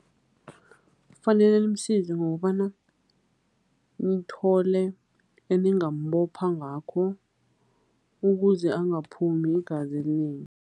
Fanele nimsize ngokobana nithole eningambopha ngakho ukuze angaphumi igazi elinengi.